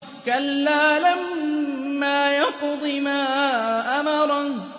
كَلَّا لَمَّا يَقْضِ مَا أَمَرَهُ